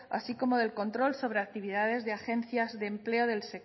así como del control sobre actividades de agencias de empleo del